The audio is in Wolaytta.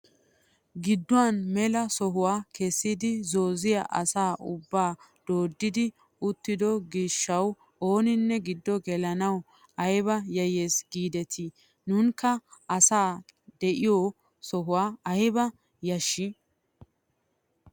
Gidduwaan mela sohuwaa kessidi zooziyaa asa ubbay dooddi uttido giishshawu ooninne giddo gelanawu ayba yayyes giidetii! Nunakka asay de'iyoo sohoy ayba yashshii!